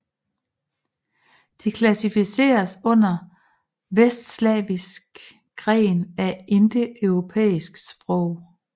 De klassificeres under vestslaviskgren af indoeuropæiske sprog